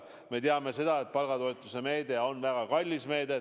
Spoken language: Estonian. Me teame seda, et palgatoetuse meede on väga kallis meede.